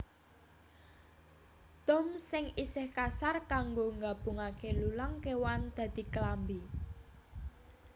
Dom sing isih kasar kanggo gabungake lulang kéwan dadi klambi